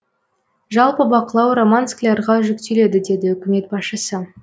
жалпы бақылау роман склярға жүктеледі деді үкімет басшысы